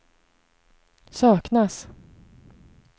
saknas